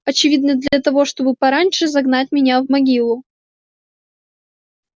очевидно для того чтобы пораньше загнать меня в могилу